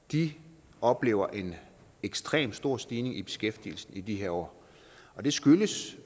de oplever en ekstremt stor stigning i beskæftigelsen i de her år og det skyldes